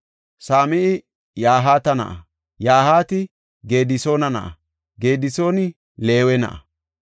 Same7i Yahaata na7a; Yahaati Gedisoona na7a; Gedisooni Leewe na7a.